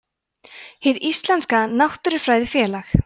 hið íslenska náttúrufræðifélag